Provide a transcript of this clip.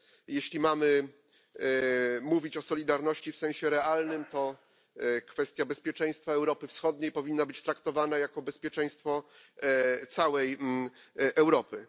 Jeśli mamy mówić o solidarności w sensie realnym, to kwestia bezpieczeństwa Europy Wschodniej powinna być traktowana jako bezpieczeństwo całej Europy.